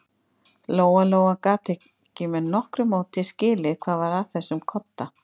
Lóa-Lóa gat ekki með nokkru móti skilið hvað var að þessum kodda.